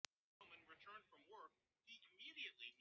Ég er ekki hrædd um að ærast.